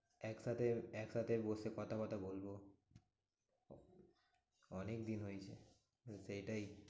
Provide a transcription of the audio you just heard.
একসাথে একসাথে বসে কথা ফতা বলবো। অনেকদিন হয়েছে কিন্তু এটাই